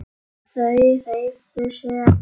Þau hreyfðu sig ekki.